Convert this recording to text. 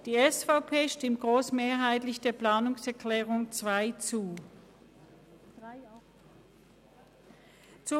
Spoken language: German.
Die SVPFraktion stimmt der Planungserklärung 2 grossmehrheitlich zu.